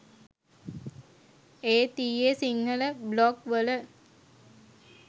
ඒත් ඊයේ සිංහල බ්ලොග් වල